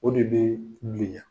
O de bee bilenya.